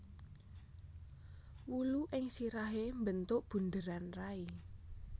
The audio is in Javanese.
Wulu ing sirahé mbentuk buderan rai